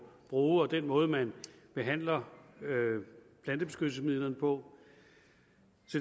bruge og den måde man behandler plantebeskyttelsesmidlerne på